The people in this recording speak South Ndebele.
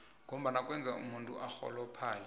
ngombana kwenza umuntu arhuluphale